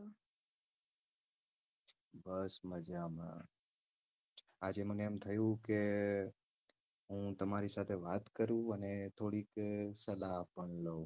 બસ મજા માં. આજે મને એમ થયું કે હું તમારી સાથે વાત કરું અને થોડીક સલાહ પણ લવ. કય બાબતે સલાહ જોયે છે તમને.